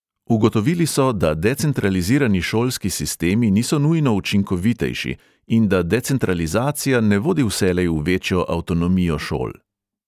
Ugotovili so, da decentralizirani šolski sistemi niso nujno učinkovitejši in da decentralizacija ne vodi vselej v večjo avtonomijo šol.